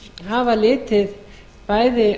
hafa litið bæði